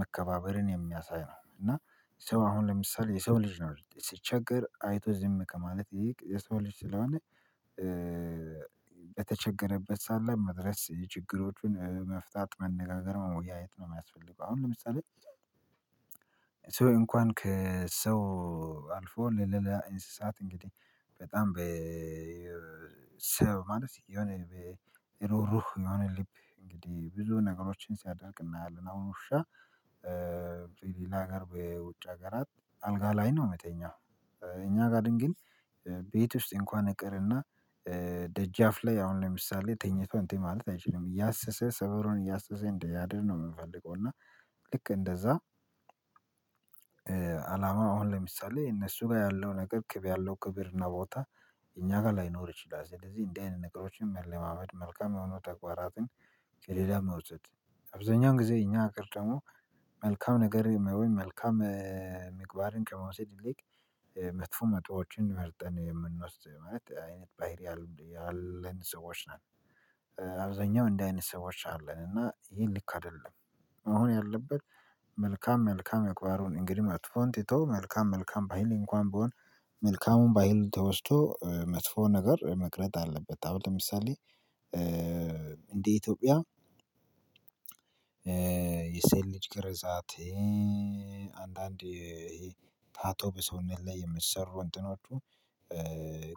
መከባበርን የሚያሳይ ነው። እና ሰው አሁን ለምሳሌ የሰው ልጅ ነው ሲቸገር አይቶ ዝም ከማለት ይልቅ የሰው ልጅ ስለሆነ በተቸገረበት ሳለ መድረስ ችግሮቹን መፍታት መነጋገር መወያየት ነው። የሚያስፈልገው አሁን ለምሳሌ ሰው እንኳን ከሰው አልፎ ለእንስሳት እንግዲህ በጣም በ ሰው ማለት የሆነ እሩሩህ የሆነ ልብ እንግዲህ ብዙ ነገሮችን ሲያደርግ እናያለን አሁን ውሻ በሌላ ጋር በውጭ ሀገራት አልጋ ላይ ነው ሚተኛው እኛ ጋር ግን ቤት ውስጥ እንኳን ይቅርና ደጃፍ ላይ አሁን ለምሳሌ ተኝቶ እንትን ማለት አይችልም እያሰሰ ሰፈሩን እያሰሰ እንዲያድር ነው የምንፈልገው። እና ልክ እንደዛ አላማ አሁን ለምሳሌ እነሱ ጋር ያለው ነገር ክብር ያለው ክብር እና ቦታ እኛ ጋር ላይኖር ይችላል። ስለዚህ እንደዚህ አይነት ነገሮችን መለማመድ መልካም የሆኑ ተግባራትን ከሌላ መውሰድ አብዛኛውን ጊዜ እኛ ሀገር ደግሞ መልካም ነገር ወይ መልካም መግባርን ከመውሰድ ይልቅ መጥፎ መጥፎዎችን መርጠን የምንወስድ አይነት ባህሪ ያለን ሰዎች ነን። አብዛኛው እንደዚህ አይነት ሰዎች አለን እና ይሄ ልክ አይደለም። መሆን ያለበት መልካም መልካም ምግባሩን እንግዲህ መጥፎን ትቶ መልካም መልካም ባህል እንኳን ቢሆን መልካሙን ባህል ተወስቶ መጥፎ ነገር መቅረት አለበት። አሁን ለምሳሌ እንደ ኢትዮጵያ የሴት ልጅ ግርዛት አንዳንድ ታቶ በሰውነት ላይ የሚሰሩ እንትኖቹ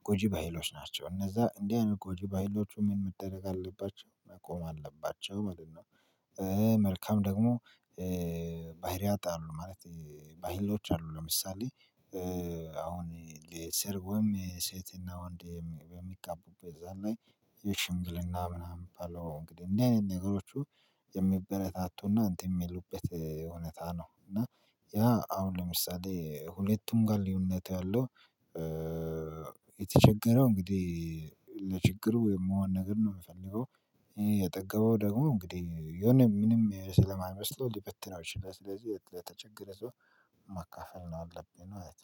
ጎጂ ባህሎች ናቸው። እነዛ እንዲህ አይነት ጎጂ ባህሎቹ ምን መደረግ አለባቸው? መቆም አለባቸው። መልካም ደግሞ ባህሪያት አሉ ማለት ባህሎች አሉ። ለምሳሌ አሁን ለሰርጉም ሴትና ወንድ የሚጋቡት እዛ ላይ የሽምግልና ምናምን ሚባለው እንግዲህ እንዲህ አይነት ነገሮቹ የሚበረታቱና እንትን የሚሉበት እውነት ነው። እና ያ አሁን ለምሳሌ ሁለቱም ጋር ልዩነት ያለው የተቸገረው እንግዲህ ለችግሩ የሚሆን ነገር ነው የሚፈልገው የጠገበው ደግሞ እንግዲህ የሆነ ምንም ስለማይመስለው ሊበትነው ይችላል ስለዚህ የተቸገረ ሰው መካፈል ነው ያለብብ ማለት ነው